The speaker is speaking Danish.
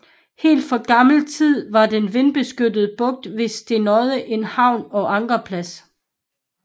Helt fra gammel tid var den vindbeskyttede bugt ved Stenodde en havne og ankerplads